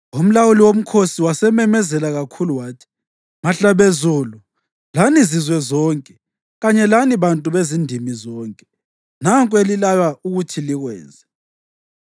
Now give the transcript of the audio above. Umlawuli womkhosi wasememezela kakhulu wathi, “Mahlabezulu, lani zizwe zonke kanye lani bantu bezindimi zonke, nanku elilaywa ukuthi likwenze: